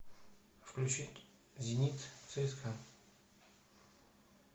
включить зенит цска